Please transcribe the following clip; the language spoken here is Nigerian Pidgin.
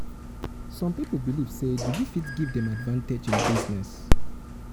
some pipo believe say juju fit give dem advantage in business.